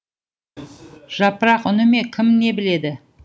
жапырақ үні ме кім не біледі